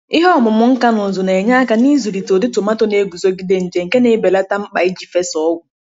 ihe ọmụmụ nka n'ụzụ na-enye aka n’ịzụlite ụdị tomaato na-eguzogide nje, nke na-ebelata mkpa iji fesaa ọgwụ.